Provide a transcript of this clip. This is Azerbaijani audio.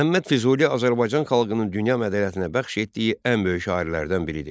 Məhəmməd Füzuli Azərbaycan xalqının dünya mədəniyyətinə bəxş etdiyi ən böyük şairlərdən biridir.